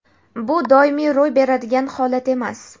bu doimiy ro‘y beradigan holat emas.